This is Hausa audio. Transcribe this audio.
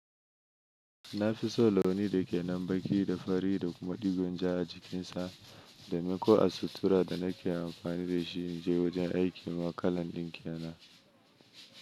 Na fi so launi da ke nan baki da fari da kuma digon ja a jikinsa. Domin ko a sutura da na ke amfani da shi in je wajen aiki ma kalan din ke nan.